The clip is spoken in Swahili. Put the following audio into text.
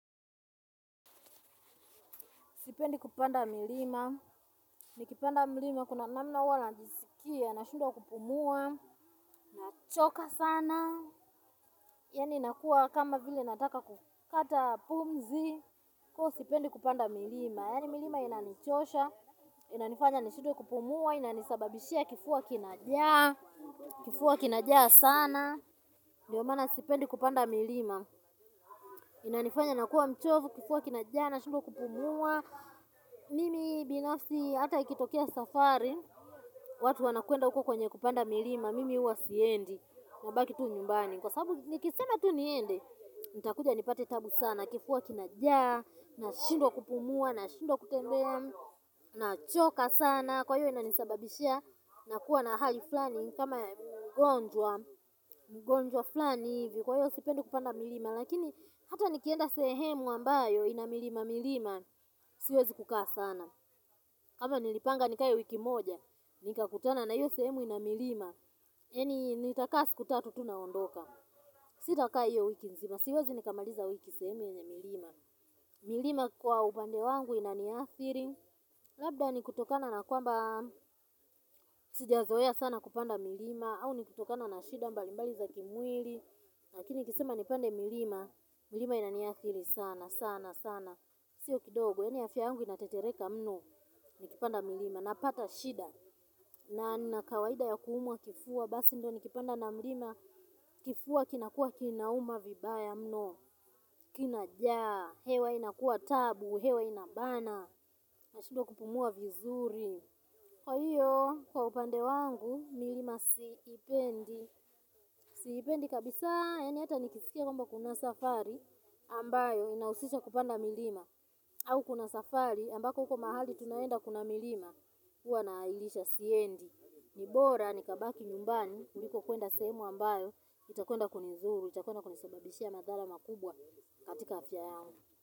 Sipendi kupanda milima. Nikipanda milima kuna namna huwa najisikia nashindwa kupumua. Nachoka sana. Yani inakua kama vile nataka kukata pumzi. Ko sipendi kupanda milima. Yani milima inanichosha. Inanifanya nishindwe kupumua. Inanisababishia kifua kinajaa. Kifua kinajaa sana. Ndiyo maana sipendi kupanda milima. Inanifanya nakua mchovu kifua kinajaa nashindwa kupumua. Mimi binafsi hata ikitokea safari. Watu wanakwenda uko kwenye kupanda milima. Mimi huwa siendi nabaki tu nyumbani. Kwa sababu nikisena tu niende. Itakuja nipate tabu sana. Kifua kinajaa nashindwa kupumua na shindwa kutembe. Nachoka sana. Kwa hiyo inanisababishia. Nakuwa na hali flani. Kama mgonjwa. Mgonjwa flani. Kwa hiyo sipendi kupanda milima. Lakini hata nikienda sehemu ambayo ina milima milima. Siwezi kukaa sana. Kama nilipanga nikayo wiki moja, nika kutana na hiyo sehemu inamilima yani nitakaa siku tatu tu naondoka. Sitakaa hiyo wiki mzima, siwezi nikamaliza wiki sehemu yenye milima. Milima kwa ubande wangu inaniathiri. Labda ni kutokana na kwamba, sijazoea sana kupanda milima au nikutokana na shida mbali mbali za kimwili. Lakini nikisema nipande milima, milima inaniathiri sana sana sana. Sio kidogo, yani afya angu inatetereka mno. Nikipanda milima, napata shida na nina kawaida ya kuumwa kifua. Basi ndo nikipanda na milima. Kifua kinakua kinauma vibaya mno. Kinajaa, hewa inakuwa tabu, hewa inabana. Nashindwa kupumua vizuri. Kwa hiyo, kwa upande wangu, milima siipendi. Sipendi kabisa, yani hata nikisikia kwamba kuna safari ambayo inahusisha kupanda milima. Au kuna safari, ambako huko mahali tunaenda kuna milima huwa naahirisha siendi. Nibora, nikabaki nyumbani kuliko kwenda sehemu ambayo iakwenda kunidhuru, itakwenda kunisababishia madhara makubwa katika afya yangu.